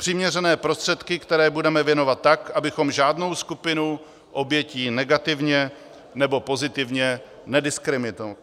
Přiměřené prostředky, které budeme věnovat tak, abychom žádnou skupinu obětí negativně nebo pozitivně nediskriminovali.